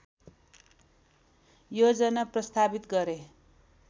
योजना प्रस्तावित गरे